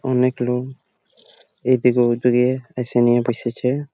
অনেক লোক এদিকে ওদিকে এসে নিয়ে বসেছে।